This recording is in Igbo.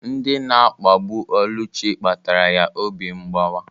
Ndị na-akpagbu Oluchi kpatara ya obi mgbawa.